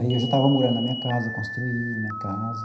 Aí eu já estava morando na minha casa, construí minha casa.